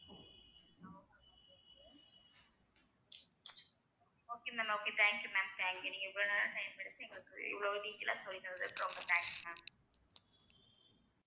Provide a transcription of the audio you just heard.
okay ma'am okay thank you ma'am thank you நீங்க இவ்வளவு நேரம் time எடுத்து எங்களுக்கு இவ்வளவு detail ஆ சொல்லி தந்ததுக்கு ரொம்ப thanks ma'am